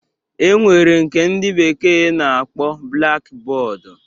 E nwere nke ndị bekee na-akpọ blaki bọọdu